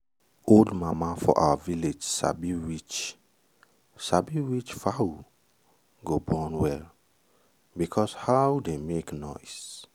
old mama for our village sabi which sabi which fowl go born well because how dey make noise.